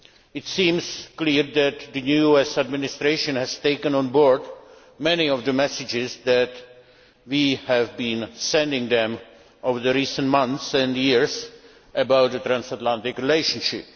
It seems clear that the new US Administration has taken on board many of the messages that we have been sending them over recent months and years about the transatlantic relationship.